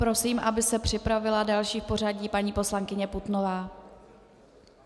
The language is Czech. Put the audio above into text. Prosím, aby se připravila další v pořadí paní poslankyně Putnová.